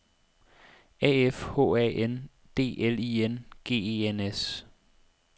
A F H A N D L I N G E N S